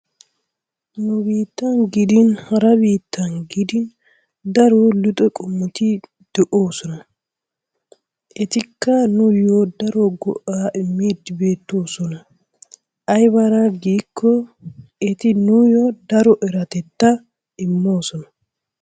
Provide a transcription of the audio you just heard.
Nu biittan gidin hara biittan gidin daro luxxe qommoti de'oosona. Etikka nuuyo daro go'aa immidi beettoosona. Aybaara giikko eti nuuyoo daro eratettaa imoosona.